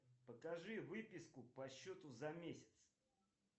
покажи выписку по счету за месяц